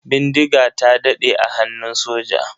Bindiga ta daɗe a hannun soja.